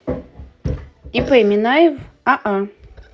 ип минаев аа